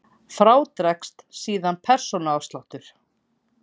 Frá dregst síðan persónuafsláttur.